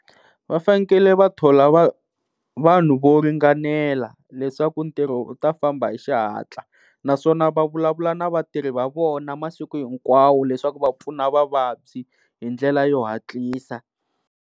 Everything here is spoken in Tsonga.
Va fanele va thola vanhu vo ringanela leswaku ntirho u ta famba hi xihatla naswona va vulavula na vatirhi va vona masiku hinkwawo leswaku va pfuna vavabyi hi ndlela yo hatlisa.